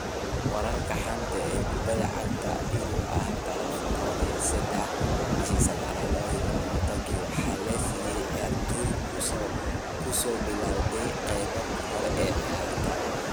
Wararka xanta kubbada cagta Yurub Axad 13.09.2020 Waxaa la nasiyay ciyaartoydii ku soo bilawday qaybtii hore ee ciyaarta.